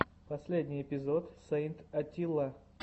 последний эпизод сэйнт атилла